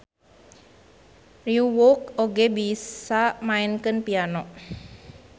Ryeowook oge bisa maenkeun piano.